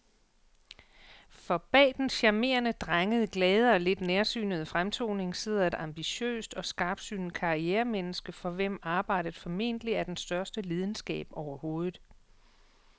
For bag den charmerende, drengede, glade og lidt nærsynede fremtoning sidder et ambitiøst og skarpsynet karrieremenneske, for hvem arbejdet formentlig er den største lidenskab overhovedet.